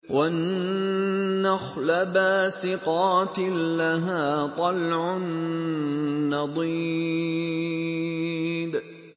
وَالنَّخْلَ بَاسِقَاتٍ لَّهَا طَلْعٌ نَّضِيدٌ